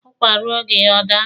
Ụkwa ruo oge ya, ọ daa.